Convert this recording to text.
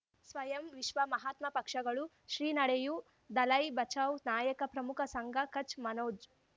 ಸ್ವಯಂ ವಿಶ್ವ ಮಹಾತ್ಮ ಪಕ್ಷಗಳು ಶ್ರೀ ನಡೆಯೂ ದಲೈ ಬಚೌ ನಾಯಕ ಪ್ರಮುಖ ಸಂಘ ಕಚ್ ಮನೋಜ್